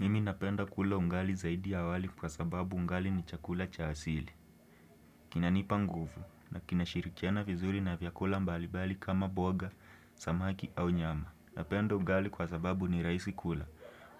Mimi napenda kula ugali zaidi ya wali kwa sababu ugali ni chakula cha asili. Kinanipa nguvu na kinashirikiana vizuri na vyakula mbalibali kama mboga, samaki au nyama. Napenda ugali kwa sababu ni rahisi kula